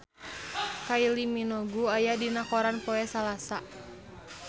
Kylie Minogue aya dina koran poe Salasa